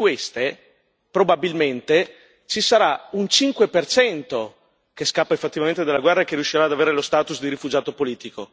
Di queste, probabilmente, ci sarà un 5 per cento che scappa effettivamente dalla guerra e che riuscirà ad avere lo status di rifugiato politico